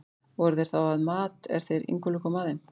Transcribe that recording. Voru þeir þá að mat, er þeir Ingólfur komu að þeim.